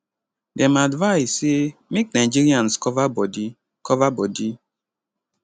dem advise say make nigerias cover bodi cover bodi